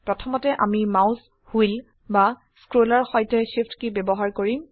প্ৰথমতে আমি mouse wheel বা স্ক্ৰলৰ সৈতে Shift কী ব্যবহাৰ কৰিম